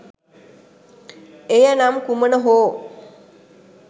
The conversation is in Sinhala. එය නම් කුමන හෝ